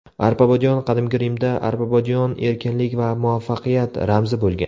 Arpabodiyon Qadimgi Rimda arpabodiyon erkinlik va muvaffaqiyat ramzi bo‘lgan.